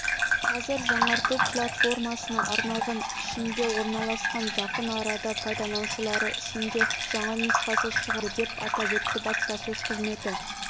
қазір жаңарту платформасына арналған ішінде орналасқан жақын арада пайдаланушылары үшін де жаңа нұсқасы шығады деп атап өтті баспасөз қызметі